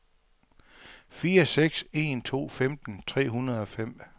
fire seks en to femten tre hundrede og fem